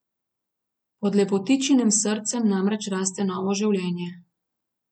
Pod lepotičinim srcem namreč raste novo življenje.